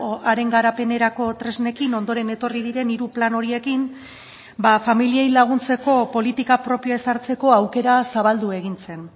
haren garapenerako tresnekin ondoren etorri diren hiru plan horiekin familiei laguntzeko politika propioa ezartzeko aukera zabaldu egin zen